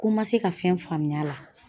Ko n ma se ka fɛn faamuya la.